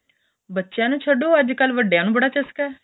ਬੱਚਿਆ ਨੂੰ ਛੱਡੋ ਅੱਜ ਕੱਲ ਵੱ ਵਡਿਆ ਨੂੰ ਬੜਾ ਚਸਕਾ ਏ